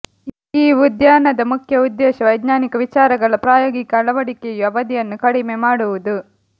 ಈ ಉದ್ಯಾನದ ಮುಖ್ಯ ಉದ್ದೇಶ ವೈಜ್ಞಾನಿಕ ವಿಚಾರಗಳ ಪ್ರಾಯೋಗಿಕ ಅಳವಡಿಕೆಯು ಅವಧಿಯನ್ನು ಕಡಿಮೆ ಮಾಡುವುದು